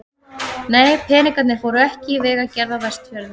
Nei, peningarnir fóru ekki í vegagerð á Vestfjörðum.